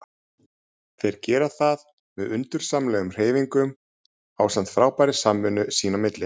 Þeir gera það með undursamlegum hreyfingum ásamt frábærri samvinnu sín á milli.